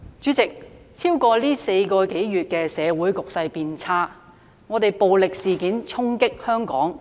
主席，在過去4個多月，社會局勢變差，暴力事件衝擊香港。